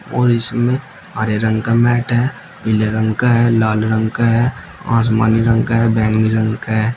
और इसमें हरे रंग का मैट है। पीले रंग का है लाल रंग का है आसमानी रंग का है बैंगनी रंग का है।